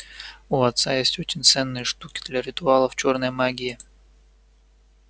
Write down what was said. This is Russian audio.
у отца есть очень ценные штуки для ритуалов чёрной магии